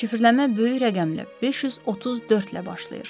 Şifrələmə böyük rəqəmli 534 ilə başlayır.